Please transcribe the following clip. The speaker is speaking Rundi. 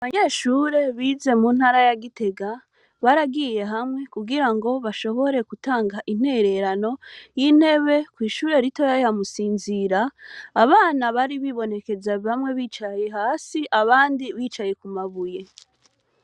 Abanyeshure bize mu ntara ya Gitega, baragiye hamwe kugirango bashobore gutanga intererano y' intebe kw' ishure ritoya ya Musinzira, abana bari hibonekeje bamwe bicaye hasi, abandi bicaye ku mabuye.